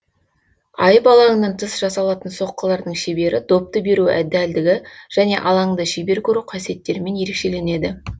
айып алаңынан тыс жасалатын соққылардың шебері допты беру дәлдігі және алаңды шебер көру қасиеттермен ерекшеленеді